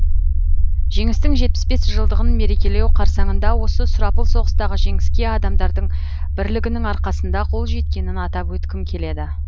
жеңістің жетпіс бес жылдығын мерекелеу қарсаңында осы сұрапыл соғыстағы жеңіске адамдардың бірлігінің арқасында қол жеткенін атап өткім келеді